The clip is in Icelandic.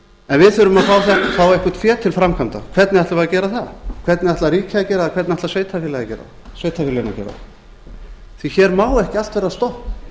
en við þurfum að fá eitthvert fé til framkvæmda hvernig ætlum við að gera það hvernig ætlar ríkið að gera það hvernig ætla sveitarfélögin að gera það hér má ekki allt verða stopp þetta